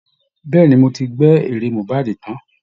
Bẹ́ẹ̀ ni, mo ti gbẹ́ èrè mohbad tán